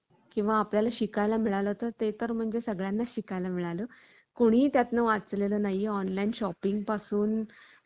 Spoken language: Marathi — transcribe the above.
इतरांच्या धर्माकडे, सहानुभूतीने पाहण्याची वृत्ती त्यांच्या अंगी पूर्ण भिनली आहे. आम्ही सारेजण जा मातीत~ या मातीचीच लेकरे आहोत. आमच्या अंतःकरणाच्या देवालयात, तुमच्या